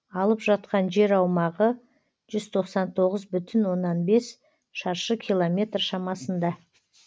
алып жатқан жер аумағы жүз тоқсан тоғыз бүтін оннан бес шаршы километр шамасында